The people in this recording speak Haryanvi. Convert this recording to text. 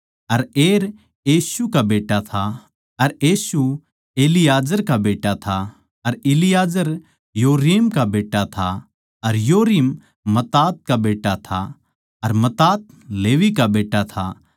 अर एर येशू का बेट्टा था अर येशू इलाजार का बेट्टा था अर इलाजार योरीम का बेट्टा था अर योरीम मत्तात का बेट्टा था अर मत्तात लेवी का बेट्टा था